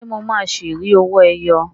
Ṣé mo máa ṣi rí owó ẹyọ?